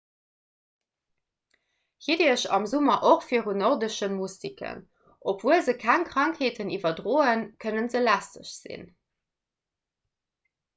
hitt iech am summer och virun den nordesche mustiken obwuel se keng krankheeten iwwerdroen kënne se lästeg sinn